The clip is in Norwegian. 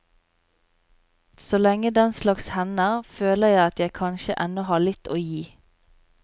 Så lenge den slags hender, føler jeg at jeg kanskje ennå har litt å gi.